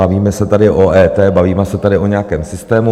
Bavíme se tady o EET, bavíme se tady o nějakém systému.